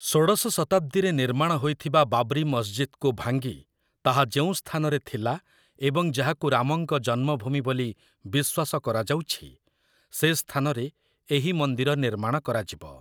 ଷୋଡ଼ଶ ଶତାବ୍ଦୀରେ ନିର୍ମାଣ ହୋଇଥିବା ବାବ୍ରି ମସଜିଦକୁ ଭାଙ୍ଗି, ତାହା ଯେଉଁ ସ୍ଥାନରେ ଥିଲା, ଏବଂ ଯାହାକୁ ରାମଙ୍କ ଜନ୍ମଭୂମି ବୋଲି ବିଶ୍ୱାସ କରାଯାଉଛି, ସେ ସ୍ଥାନରେ ଏହି ମନ୍ଦିର ନିର୍ମାଣ କରାଯିବ ।